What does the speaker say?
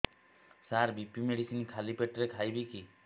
ସାର BP medicine ଖାଲି ପେଟରେ ଖାଇବି କି